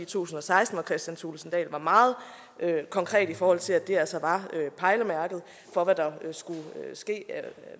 tusind og seksten hvor kristian thulesen dahl var meget konkret i forhold til at det altså var pejlemærket for hvad der skulle ske af